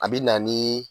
A bi na ni